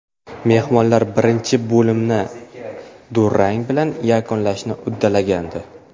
Mehmonlar birinchi bo‘limni durang bilan yakunlashni uddalagandi.